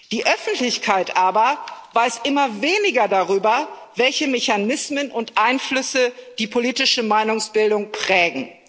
Die Öffentlichkeit aber weiß immer weniger darüber, welche Mechanismen und Einflüsse die politische Meinungsbildung prägen.